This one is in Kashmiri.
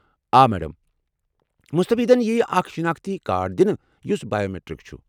آ میڑم! مستفیدین ییہِ اکھ شناختی کارڈ دِنہٕ یُس بائیومیٹرک چھُ۔